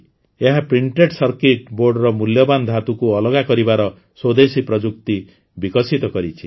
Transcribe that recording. ଏହା printed circuit ବୋର୍ଡର ମୂଲ୍ୟବାନ ଧାତୁକୁ ଅଲଗା କରିବାର ସ୍ୱଦେଶୀ ପ୍ରଯୁକ୍ତି ବିକଶିତ କରିଛି